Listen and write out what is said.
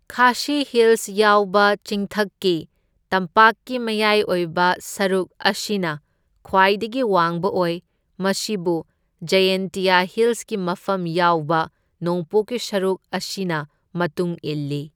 ꯈꯥꯁꯤ ꯍꯤꯜꯁ ꯌꯥꯎꯕ ꯆꯤꯡꯊꯛꯀꯤ ꯇꯝꯄꯥꯛꯀꯤ ꯃꯌꯥꯏ ꯑꯣꯏꯕ ꯁꯔꯨꯛ ꯑꯁꯤꯅ ꯈ꯭ꯋꯥꯏꯗꯒꯤ ꯋꯥꯡꯕ ꯑꯣꯏ, ꯃꯁꯤꯕꯨ ꯖꯥꯌꯦꯟꯇꯤꯌꯥ ꯍꯤꯜꯁꯀꯤ ꯃꯐꯝ ꯌꯥꯎꯕ ꯅꯣꯡꯄꯣꯛꯀꯤ ꯁꯔꯨꯛ ꯑꯁꯤꯅ ꯃꯇꯨꯡ ꯏꯜꯂꯤ꯫